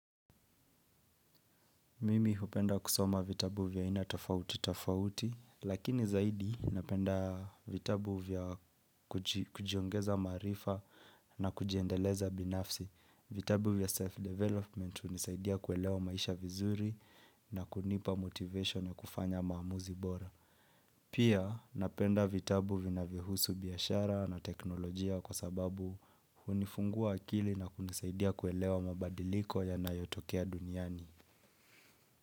Mimi hupenda kusoma vitabu vya aina tofauti tofauti, lakini zaidi napenda vitabu vya kujiongeza maarifa na kujiendeleza binafsi. Vitabu vya self-development hunisaidia kuelewa maisha vizuri na kunipa motivation ya kufanya maamuzi bora. Pia napenda vitabu vinavyo husu biashara na teknolojia kwa sababu hunifungua akili na kunisaidia kuelewa mabadiliko yanayotokea duniani.